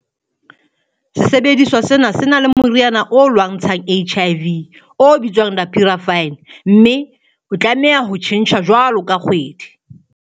Sesebediswa sena se na le moriana o lwantshang HIV o bitswang dapivirine mme se tlameha ho tjhentjhwa jwalo ka kgwedi.